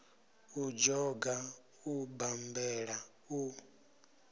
u dzhoga u bammbela u